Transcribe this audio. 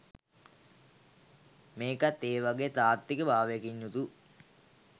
මේකත් ඒවගෙ තාත්වික භාවයකින් යුතු